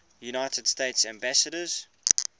united states ambassadors